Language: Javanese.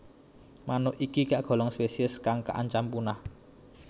Manuk iki kagolong spesies kang kaancam punah